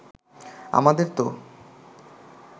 আমাদের তো